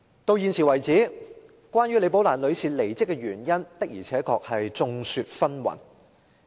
到現時為止，關於李寶蘭女士的離職原因的而且確眾說紛紜。